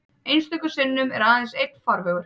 Einstöku sinnum er aðeins einn farvegur.